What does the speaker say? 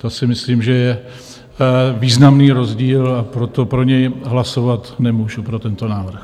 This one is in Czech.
To si myslím, že je významný rozdíl, a proto pro něj hlasovat nemůžu, pro tento návrh.